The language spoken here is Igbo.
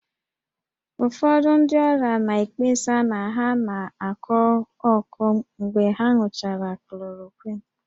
Ụfọdụ ndị ọrịa na-ekpesa na ha na-akọ ọkọ mgbe ha ṅụchara chloroquine